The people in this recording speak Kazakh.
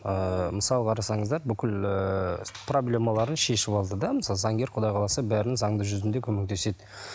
ыыы мысалы қарасаңыздар бүкіл ііі проблемаларын шешіп алды да заңгер құдай қаласа бәрін заңды жүзінде көмектеседі